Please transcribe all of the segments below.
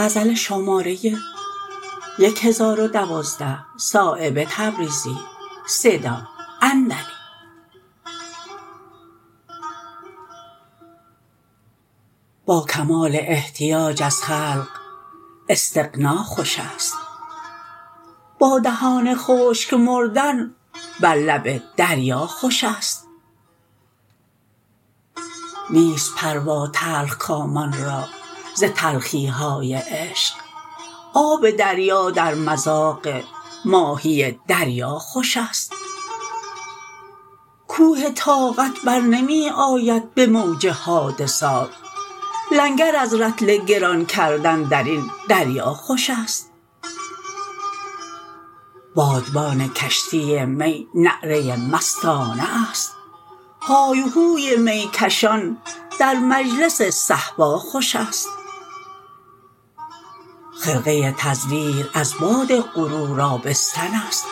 با کمال احتیاج از خلق استغنا خوش است با دهان خشک مردن بر لب دریا خوش است نیست پروا تلخ کامان را ز تلخی های عشق آب دریا در مذاق ماهی دریا خوش است کوه طاقت برنمی آید به موج حادثات لنگر از رطل گران کردن در این دریا خوش است بادبان کشتی می نعره مستانه است های وهوی می کشان در مجلس صهبا خوش است خرقه تزویر از باد غرور آبستن است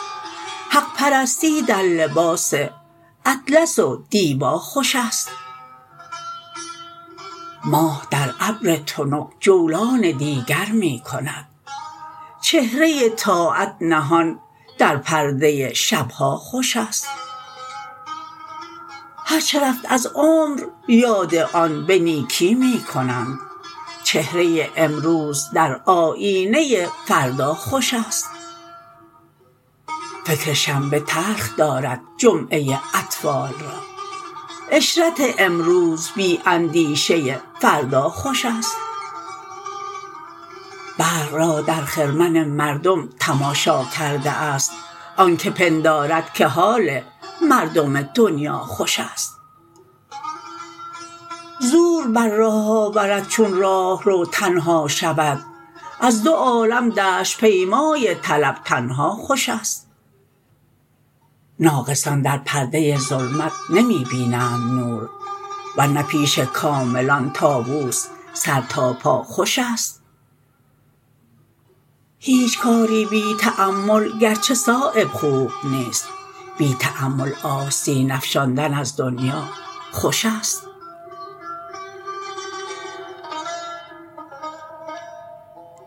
حق پرستی در لباس اطلس و دیبا خوش است ماه در ابر تنک جولان دیگر می کند چهره طاعت نهان در پرده شب ها خوش است هر چه رفت از عمر یاد آن به نیکی می کنند چهره امروز در آیینه فردا خوش است فکر شنبه تلخ دارد جمعه اطفال را عشرت امروز بی اندیشه فردا خوش است برق را در خرمن مردم تماشا کرده است آن که پندارد که حال مردم دنیا خوش است زور بر راه آورد چون راهرو تنها شود از دو عالم دشت پیمای طلب تنها خوش است ناقصان در پرده ظلمت نمی بینند نور ورنه پیش کاملان طاوس سر تا پا خوش است هیچ کاری بی تأمل گرچه صایب خوب نیست بی تأمل آستین افشاندن از دنیا خوش است